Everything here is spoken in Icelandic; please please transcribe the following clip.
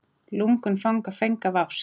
Lungun fanga feng af ást.